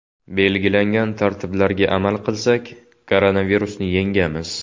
Belgilangan tartiblarga amal qilsak, koronavirusni yengamiz.